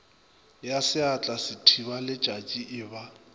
ya seatla sethibaletšatši e ba